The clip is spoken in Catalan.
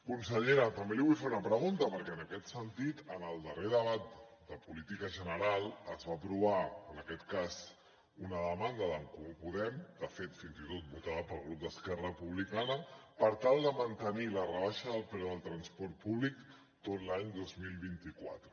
consellera també li vull fer una pregunta perquè en aquest sentit en el darrer debat de política general es va aprovar en aquest cas una demanda d’en comú podem de fet fins i tot votada pel grup d’esquerra republicana per tal de mantenir la rebaixa del preu del transport públic tot l’any dos mil vint quatre